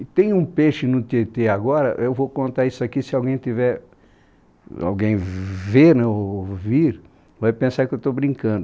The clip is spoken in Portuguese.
E tem um peixe no Tietê agora, eu vou contar isso aqui, se alguém tiver, alguém ver ou ouvir, vai pensar que eu estou brincando.